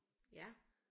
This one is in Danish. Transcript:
Ja